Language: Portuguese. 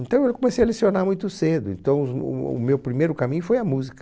Então eu comecei a lecionar muito cedo, então os o o meu primeiro caminho foi a música.